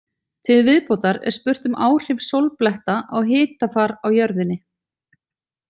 Til viðbótar er spurt um áhrif sólbletta á hitafar á jörðinni.